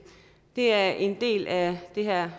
er det en del af det her